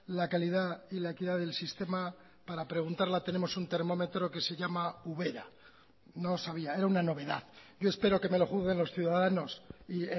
la calidad y la equidad del sistema para preguntarla tenemos un termómetro que se llama ubera no sabía era una novedad yo espero que me lo juzguen los ciudadanos y